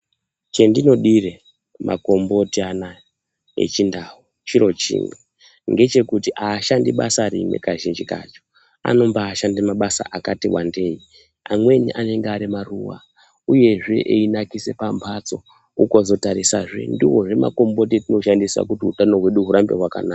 Chandinodire makomboti anawa echindau chiro chimwe ndechekuti kuti aashandi basa rimwe .Kazhinji kacho ,anobashanda mabasa akati wandei .Amweni anenge ,ari maruva uyezve, einakisa pamhatso .Ukazotarisazve ,ndiwozve makomboti atoshandisa kuti hutano hwedu hurambe hwakanaka.